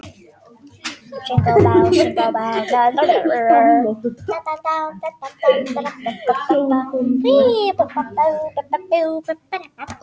Hún stóð þarna eldrjóð og krosslagði fæturna á miðju gólfi.